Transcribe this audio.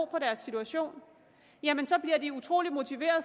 deres situation jamen så bliver de utrolig motiverede